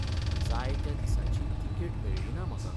जाय त्या दिसाची तिकेट मेळ्ळी ना म्हाका.